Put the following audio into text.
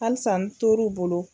Halisa n tor'o bolo.